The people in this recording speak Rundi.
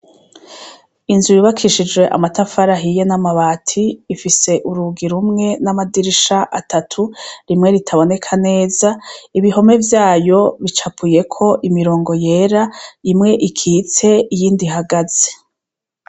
Inzu yubakishijwe namatafari ahiye cane hamwe namabati ifise urugi rumwe namadirisha atatu rimwe ritaboneka neza ibihome vyayo bicapuyeko imirongo yera imwe ikitse iyindi ihagaze